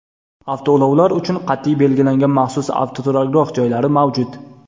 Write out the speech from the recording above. Avtoulovlar uchun qat’iy belgilangan maxsus avtoturargoh joylari mavjud.